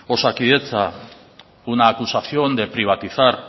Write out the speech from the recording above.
osakidetza una acusación de privatizar